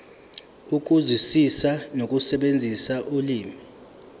ukuzwisisa nokusebenzisa ulimi